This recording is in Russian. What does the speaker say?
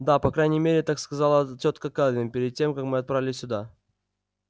да по крайней мере так сказала тётка кэлвин перед тем как мы отправились сюда